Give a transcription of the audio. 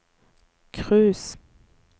cruise